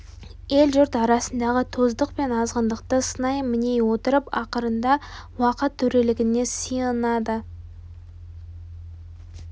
ел-жұрт арасындағы тоздық пен азғындықты сынай міней отырып ақырында уақыт төрелігіне сиынады